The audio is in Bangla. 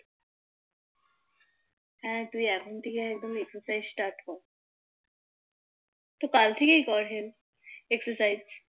হ্যাঁ তুই এখন থেকেই একদম Exercise টা Start কর তো কাল থেকেই কর Health Exerscise